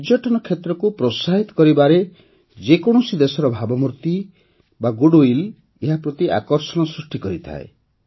ପର୍ଯ୍ୟଟନ କ୍ଷେତ୍ରକୁ ପ୍ରୋତ୍ସାହିତ କରିବାରେ ଯେ କୌଣସି ଦେଶର ଭାବମୂର୍ତ୍ତି ଗୁଡ୍ୱିଲ୍ ଏହା ପ୍ରତି ଆକର୍ଷଣ ସୃଷ୍ଟି କରିଥାଏ